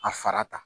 A fara ta